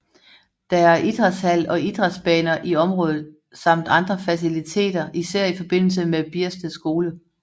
Der er idrætshal og idrætsbaner i området samt andre faciliteter især i forbindelse med Biersted Skole